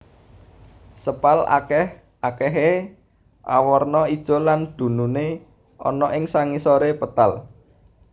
Sepal akèh akèhé awarna ijo lan dununé ana ing sangisoré petal